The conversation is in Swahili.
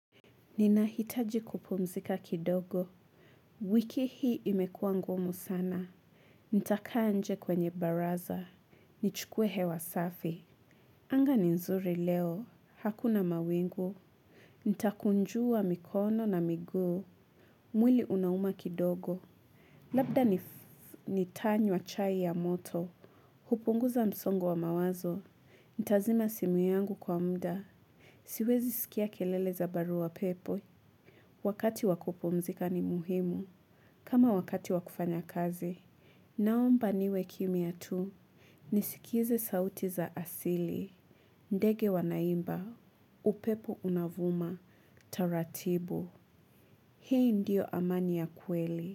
Ninahitaji kupumzika kidogo. Wiki hii imekuwa ngumu sana. Nitakaa nje kwenye baraza. Nichukue hewa safi. Anga ni nzuri leo. Hakuna mawingu. Nitakunjua mikono na miguu. Mwili unauma kidogo. Labda nitanywa chai ya moto. Hupunguza msongo wa mawazo. Nitazima simu yangu kwa muda. Siwezi sikia kelele za barua pepe. Wakati wa kupumzika ni muhimu. Kama wakati wakufanya kazi. Naomba niwe kimya tu. Nisikize sauti za asili. Ndege wanaimba. Upepo unavuma. Taratibu. Hii ndio amani ya kweli.